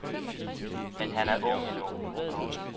Men han er ung endnu.